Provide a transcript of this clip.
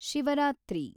Shivaratri